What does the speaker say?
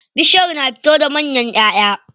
Bishiyar na fito da manyan ƴaʼƴa.